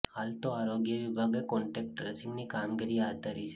હાલ તો આરોગ્ય વિભાગે કોન્ટેક્ટ ટ્રેસિંગની કામગીરી હાથ ધરી છે